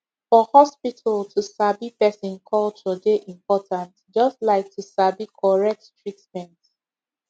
for hospital to sabi person culture dey important just like to sabi correct treatment